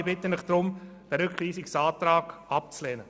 Ich bitte Sie darum, den Rückweisungsantrag abzulehnen.